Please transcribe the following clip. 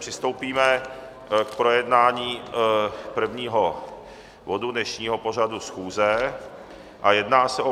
Přistoupíme k projednání prvního bodu dnešního pořadu schůze a jedná se o